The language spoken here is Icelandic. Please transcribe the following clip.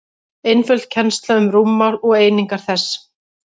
einföld kennsla um rúmmál og einingar þess